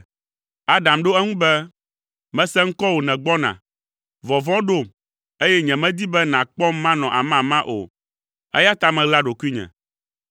Adam ɖo eŋu be, “Mese ŋkɔwò nègbɔna, vɔvɔ̃ ɖom, eye nyemedi be nàkpɔm manɔ amama o, eya ta meɣla ɖokuinye.”